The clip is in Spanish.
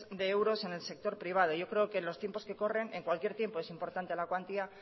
de euros en el sector privado yo creo que en los tiempos que corren en cualquier tiempo es importante la cuantía